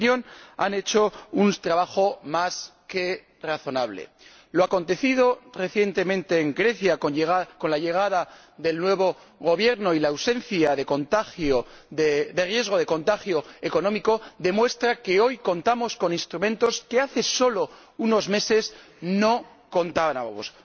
En mi opinión, han hecho un trabajo más que razonable. Lo acontecido recientemente en Grecia, con la llegada del nuevo Gobierno y la ausencia de riesgo de contagio económico, demuestra que hoy contamos con instrumentos con los que hace solo unos meses no contábamos.